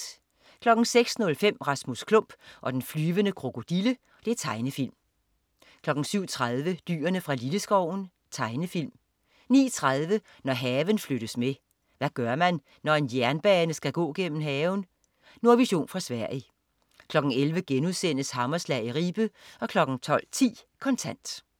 06.05 Rasmus Klump og den flyvende krokodille. Tegnefilm 07.30 Dyrene fra Lilleskoven. Tegnefilm 09.30 Når haven flyttes med. Hvad gør man, når en jernbane skal gå gennem haven? Nordvision fra Sverige 11.00 Hammerslag i Ribe* 12.10 Kontant